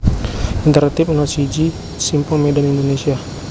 Intertip No siji Simpang Medan Indonesia